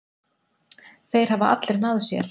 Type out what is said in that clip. Þeir hafa allir náð sér.